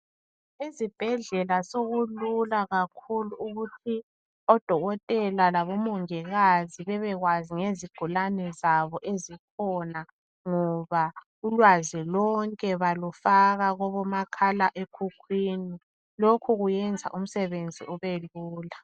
Ezibhedlela sokulula kakhulu ukuthi odokotela labomongikazi babekwazi ngezigulane zabo ezikhona, ngoba ulwazi lonke balufaka kumakhale khukhwini lokhu kuyenza umsebenzi ube lula